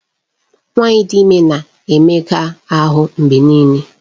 Nwanyị dị ime na-emega ahụ mgbe niile.